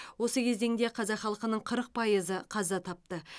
осы кезеңде қазақ халқының қырық пайызы қаза тапты